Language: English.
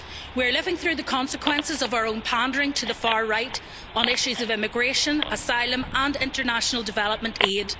We are living through the consequences of our own pandering to the far right on issues of immigration, asylum and international development aid.